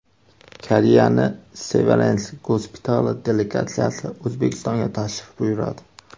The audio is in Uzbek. Koreyaning Severance gospitali delegatsiyasi O‘zbekistonga tashrif buyuradi.